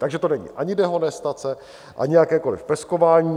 Takže to není ani dehonestace, ani jakékoliv peskování.